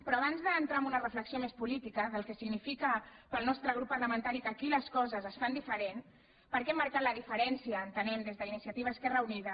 però abans d’entrar en una reflexió més política del que significa per al nostre grup parlamentari que aquí les coses es fan diferent per què hem marcat la diferència entenem des d’iniciativa esquerra unida